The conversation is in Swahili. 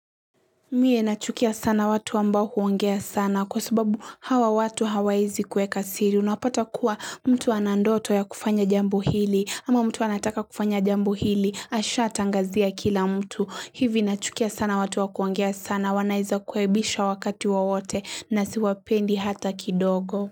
Mie nachukia sana watu ambao huongea sana kwa sababu hawa watu hawawezi kuweka siri unapata kuwa mtu ana ndoto ya kufanya jambo hili ama mtu anataka kufanya jambo hili ashatangazia kila mtu hivi nachukia sana watu wa kuongea sana wanaweza kuaibisha wakati wowote na siwapendi hata kidogo.